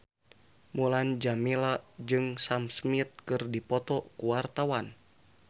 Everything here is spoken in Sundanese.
Mulan Jameela jeung Sam Smith keur dipoto ku wartawan